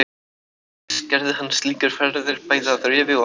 Ekki síst gerði hann slíkar ferðir bæði að Rifi og Arnarstapa.